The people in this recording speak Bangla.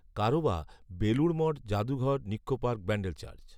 কারও বা বেলুড় মঠ জাদুঘর নিক্কো পার্ক ব্যাণ্ডেল চার্চ